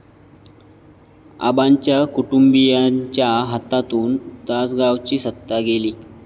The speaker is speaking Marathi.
आबांच्या कुटुंबियांच्या हातातून तासगावची सत्ता गेली